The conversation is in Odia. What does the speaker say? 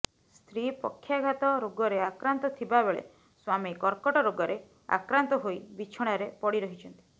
ସ୍ତ୍ରୀ ପକ୍ଷାଘାତ ରୋଗରେ ଆକ୍ରାନ୍ତ ଥିବାବେଳେ ସ୍ବାମୀ କର୍କଟ ରୋଗରେ ଆକ୍ରାନ୍ତ ହୋଇ ବିଛଣାରେ ପଡି ରହିଛନ୍ତି